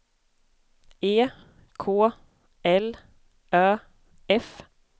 E K L Ö F